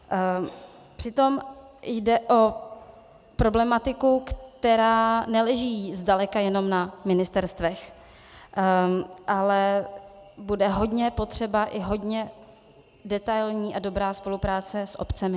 Přitom jde o problematiku, která neleží zdaleka jenom na ministerstvech, ale bude hodně potřeba i hodně detailní a dobrá spolupráce s obcemi.